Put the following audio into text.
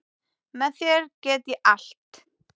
Með þér get ég allt.